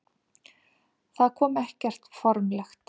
Það kom ekkert formlegt.